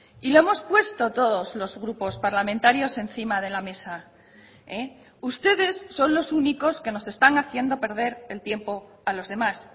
y lo hemos puesto todos los grupos parlamentarios encima de la mesa ustedes son los únicos que nos están haciendo perder el tiempo a los demás